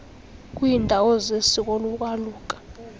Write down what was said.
kwiiindawo zesiko lokwaluka